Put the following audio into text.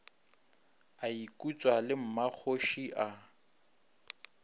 a ikutswa le mmakgoši a